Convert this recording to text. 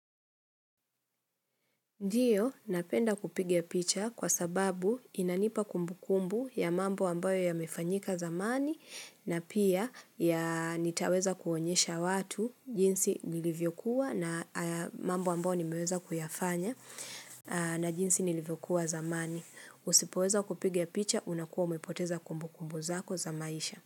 Ndio, napenda kupigia picha kwa sababu inanipa kumbukumbu ya mambo ambayo yamefanyika zamani na pia ya nitaweza kuonyesha watu jinsi nilivyokuwa na mambo ambayo nimeweza kuyafanya na jinsi nilivyokuwa zamani. Usipoweza kupiga picha, unakuwa umepoteza kumbukumbu zako za maisha.